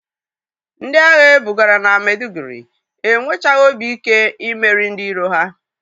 Ndị agha e bugara na Medụgụri enwechaghị obi ike imeri ndị iro ha.